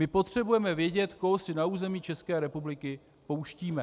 My potřebujeme vědět, koho si na území České republiky pouštíme.